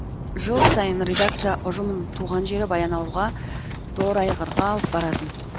жыл сайын редакция ұжымын туған жері баянауылға торайғырға алып баратын